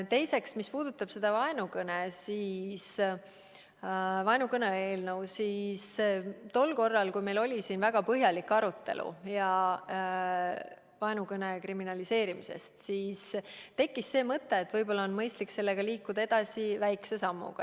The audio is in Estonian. Teiseks, mis puudutab seda vaenukõne eelnõu, siis tol korral, kui meil oli siin väga põhjalik arutelu vaenukõne kriminaliseerimisest, tekkis mõte, et võib-olla on mõistlik sellega liikuda edasi, astudes väikese sammu.